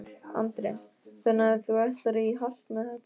Andri: Þannig að þú ætlar í hart með þetta?